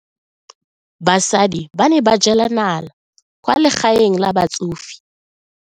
Basadi ba ne ba jela nala kwaa legaeng la batsofe.